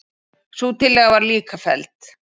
Sú tillaga var líka felld.